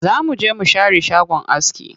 Za mu je mu share shagon aski.